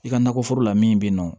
I ka nakɔ foro la min bɛ yen nɔ